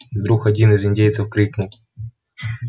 и вдруг один из индейцев крикнул